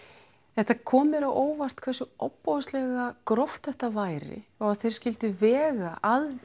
þetta kom mér á óvart hversu ofboðslega gróft þetta væri og að þeir skyldu vega að